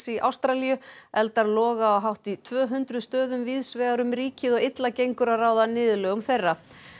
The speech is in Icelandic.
í Ástralíu eldar loga á hátt í tvö hundruð stöðum víðs vegar um ríkið og illa gengur að ráða niðurlögum þeirra